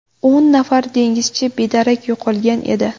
O‘n nafar dengizchi bedarak yo‘qolgan edi.